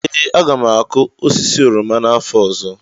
ee, aga m akụ osisi oroma n'afọ ọzọ